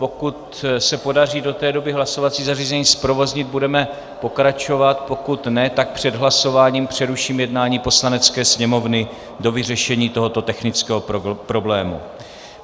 Pokud se podaří do té doby hlasovací zařízení zprovoznit, budeme pokračovat, pokud ne, tak před hlasováním přeruším jednání Poslanecké sněmovny do vyřešení tohoto technického problému.